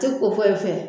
Tɛ ko foyi fɛ